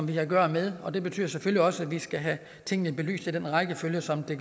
vi har at gøre med og det betyder selvfølgelig også at vi skal have tingene belyst i den rækkefølge som det